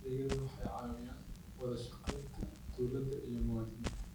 Adeegyadani waxay kordhiyaan wada shaqaynta dawladda iyo muwaadiniinta.